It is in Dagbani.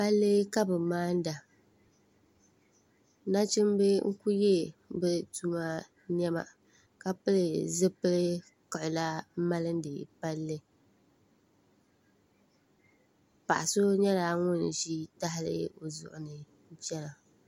Palli ka bɛ maana nachimba n-ku yɛ bɛ tuma nɛma ka pili zipil' kiɣila m-maani palli paɣ' so nyɛla ŋun ʒi tahili o zuɣuni n-chana